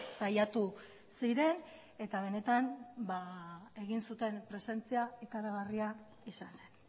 saiatu ziren eta benetan egin zuten presentzia ikaragarria izan zen